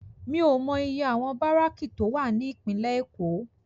Mi ó mò iyé áwòn báráki tó wá ni Ipinlè Ékó